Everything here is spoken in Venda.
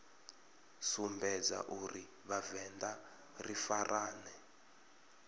sumbedza uri vhavenḓa ri farane